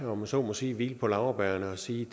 om jeg så må sige hvile på laurbærrene og sige